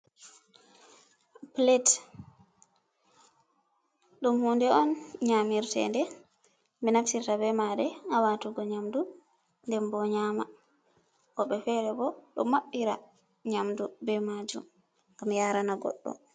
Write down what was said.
Pilet, đum hunde on nyaamirteende 6e naftirta beh maare ha waatugo nyamndu nden boh nyaama, wo66e feere boh đo ma66ira nyamdu beh maajum ngam yaarana goddo.